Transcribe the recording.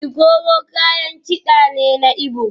Ikoro kayan kida ne na Igbo